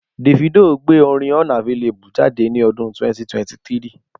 Davido gbé orin unavailable jáde ní ọdún 2023